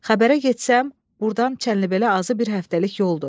Xəbərə getsəm, burdan Çənlibelə azı bir həftəlik yoldur.